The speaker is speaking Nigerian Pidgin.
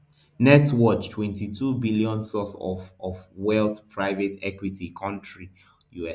net worth twenty-two billion source of of wealth private equity country us